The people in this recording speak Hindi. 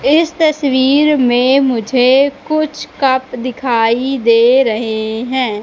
इस तस्वीर में मुझे कुछ कप दिखाई दे रहें हैं।